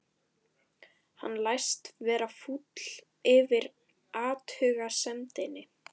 Hann læst vera fúll yfir athugasemdinni.